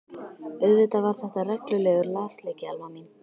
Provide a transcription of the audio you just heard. Auðvitað var þetta reglulegur lasleiki Alma mín.